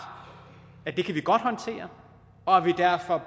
at det kan vi godt håndtere og at vi derfor